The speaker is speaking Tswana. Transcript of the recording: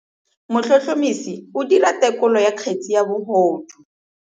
Motlhotlhomisi o dira têkolô ya kgetse ya bogodu.